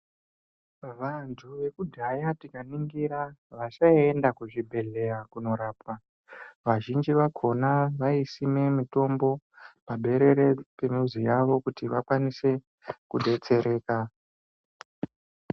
Vantu vekudhaya tikaningira vasaienda kuzvibhedhlera kunorapwa vazhinji vakhona vaisime mitombo paberere yemizi yavo kuti vakwanise kudetsereka.